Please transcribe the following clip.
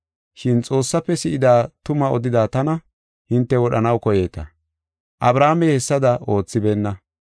Shin Xoossafe si7ida tumaa odida tana hinte wodhanaw koyeeta. Abrahaamey hessada oothibeenna.